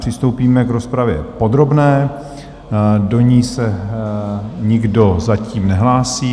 Přistoupíme k rozpravě podrobné, do ní se nikdo zatím nehlásí.